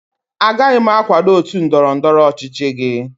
Agaghị m akwado otu ndọrọ ndọrọ ọchịchị gị